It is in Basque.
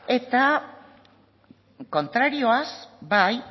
eta kontrarioaz bai